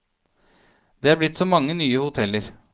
Det er blitt så mange nye hoteller.